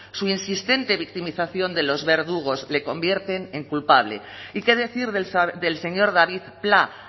su insistente victimización de los verdugos le convierten en culpable y qué decir del señor david pla